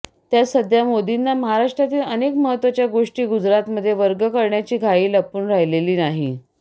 त्यात सध्या मोदींना महाराष्ट्रातील अनेक महत्वाच्या गोष्टी गुजरातमध्ये वर्ग करण्याची घाई लपून राहिलेली नाही